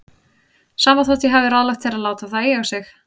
Sama þótt ég hafi ráðlagt þér að láta það eiga sig.